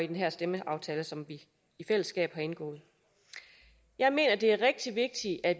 den her stemmeaftale som vi i fællesskab har indgået jeg mener det er rigtig vigtigt at